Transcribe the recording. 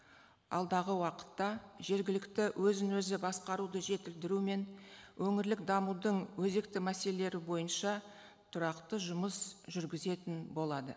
алдағы уақытта жергілікті өзін өзі басқаруды жетілдіру мен өңірлік дамудың өзекті мәселелері бойынша тұрақты жұмыс жүргізетін болады